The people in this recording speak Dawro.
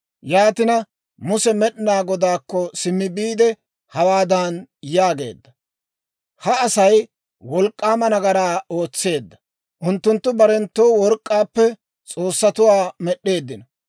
Yaatina Muse Med'inaa Godaakko simmi biide hawaadan yaageedda; «Ha Asay wolk'k'aama nagaraa ootseedda; unttunttu barenttoo work'k'aappe s'oossatuwaa med'd'eeddino.